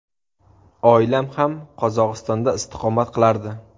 Oilam ham Qozog‘istonda istiqomat qilardi.